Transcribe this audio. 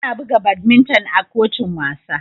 Ana buga badminton a kotun wasa.